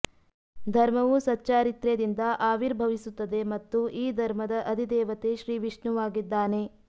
ಧರ್ಮವು ಸಚ್ಚಾರಿತ್ರ್ಯದಿಂದ ಆವಿರ್ಭವಿಸುತ್ತದೆ ಮತ್ತು ಈ ಧರ್ಮದ ಅಧಿದೇವತೆ ಶ್ರೀ ವಿಷ್ಣುವಾಗಿದ್ದಾನೆ